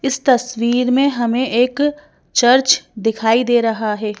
इस तस्वीर में हमें एक चर्च दिखाई दे रहा है।